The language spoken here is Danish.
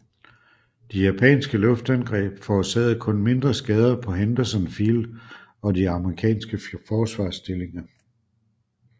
De japanske luftangreb forårsagede kun mindre skader på Henderson Field og de amerikanske forsvarsstillinger